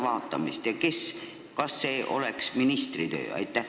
Ja kui tuleks, kas see oleks siis ministri töö?